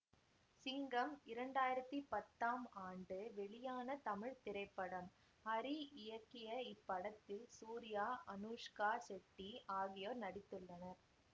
சிங்கம் இரண்டாயிரத்தி பத்தாம் ஆண்டு வெளியான தமிழ் திரைப்படம் ஹரி இயக்கிய இப்படத்தில் சூர்யா அனுஷ்கா செட்டி ஆகியோர் நடித்துள்ளனர்